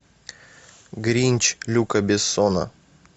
гринч люка бессона